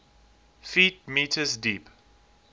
ft m deep